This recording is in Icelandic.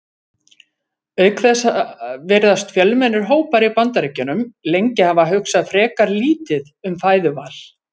Auk þess virðast fjölmennir hópar í Bandaríkjunum lengi hafa hugsað frekar lítið um fæðuval.